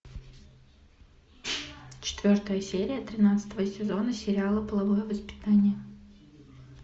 четвертая серия тринадцатого сезона сериала половое воспитание